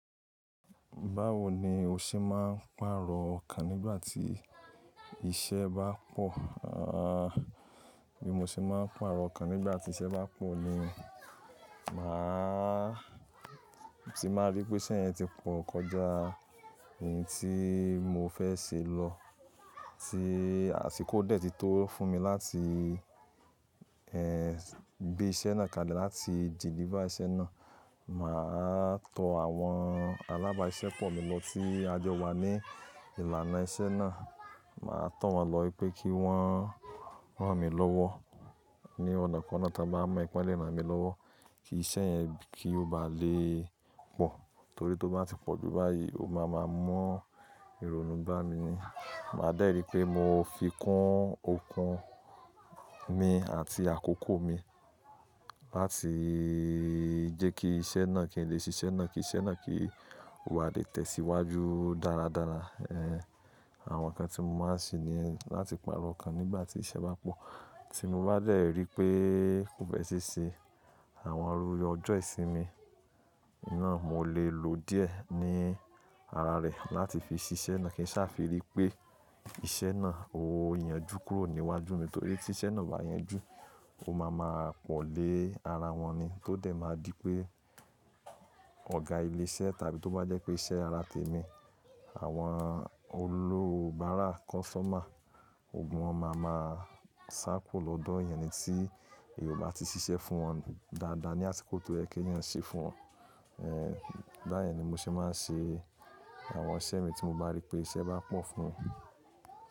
Báwo ni o ṣe máa ń pàrọ̀ okan nígbà tí iṣẹ́ bá pọ̀? Bí mo ṣe máa ń pàrọ̀ okan nígbà tí iṣẹ́ bá pọ̀ ni, màá ti máa rí pé iṣẹ́ yẹn ti pọ̀ kọjá èyí tí mo fẹ́ ṣe lọ, tí àsìkò dẹ̀ ti tó fún mi láti gbé iṣẹ́ náà kalẹ̀, láti deliver iṣẹ́ náà. Màá tọ àwọn alábàáṣẹ́ pọ̀ mi lọ ti a jọ wa ní ìlànà iṣẹ́ náà. Màá tọ̀ wọ́n lọ wipé kí wọ́n rán mi lọ́wọ́ ní ọ̀nà kanakana tí wọ́n bá mọ̀, pé lé mi lọ́wọ́ kí iṣẹ́ yẹn kí ó ba lè pọ̀. Torí tí ó bá ti pọ̀ jù báyìí, ó máa ma mọ́ ìrònú gbá mi ni. Màá dẹ̀ ri pé mo fi kún okun mi àti àkókò mi láti jẹ́ kí iṣẹ́ náà kí n lè ṣe iṣẹ́ náà, kí iṣẹ́ náà kí ó bá lè tẹ̀síwájú dáradára. Ẹ̀ Àwọn ǹkan tí mo máa ń ṣe ní ẹ́ láti pàrọ̀ ǹkan nígbà tí iṣẹ́ bá pọ̀. Tí mo bá dẹ̀ rí pé kò fẹ́ ṣeṣẹ́, àwọn ru yọjọ́ ìṣínmi náà mo lè lo díẹ̀ ní ara rẹ̀ láti fi ṣe iṣẹ́ náà kí n sá fi rí pé iṣẹ́ náà ó yanjú kúrò níwájú mi. Torí tí iṣẹ́ náà bá yanjú, ó máa ma pọ̀ lé ara wọn ni. Tó dẹ̀ máa di pé ọ̀gá ilé iṣẹ́ tàbí tó bá jẹ́ pé iṣẹ́ ara tèmi, àwọn olúbárà customer, ogun wọn máa ma kuro lọ́dọ̀ èèyan ni tí èyan ò bá ti ṣiṣẹ́ fún wọn dáadáa ní àsìkò tó yẹ kí èèyí ṣẹ́ fún wọn. Ẹ̀ Báyìí ni mo ṣe máa ń ṣe àwọn iṣẹ́ mi tí mo bá rí pé iṣẹ́ bá pọ̀ fún.